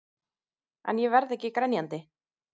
En ég verð ekki grenjandi.